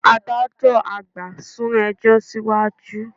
Adájọ́ àgbà sún ẹjọ́ síwájú